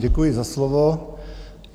Děkuji za slovo.